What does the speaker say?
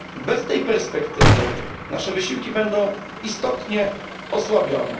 Bez tej perspektywy nasze wysiłki będą istotnie osłabione.